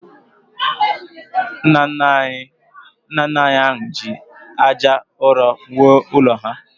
Nna nna anyị hà ji aja ụrọ wuo ụlọ ha